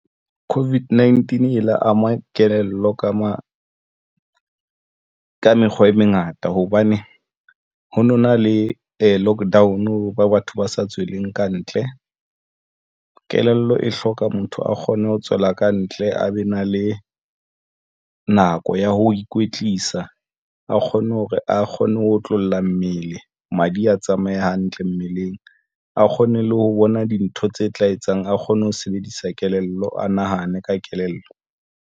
COVID-19 e la ama kelello ka mo ka mekgwa e mengata hobane ho nona le lockdown, batho ba sa tsweleng kantle. Kelello e hloka motho a kgone ho tswela kantle a be na le nako ya ho ikwetlisa. A kgonne hore a kgone ho otlolla mmele, madi a tsamaye hantle mmeleng, a kgone le ho bona dintho tse tla etsang. A kgone ho sebedisa kelello, a nahane ka kelello.